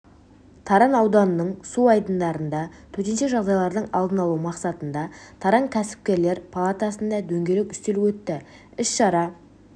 таран ауданының су айдындарында төтенше жағдайлардың алдын алу мақсатында таран кәсіпкерлер палатасында дөңгелек үстел өтті іс-шара